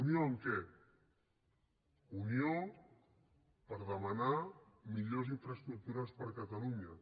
unió en què unió per demanar millors infraestructures per a catalunya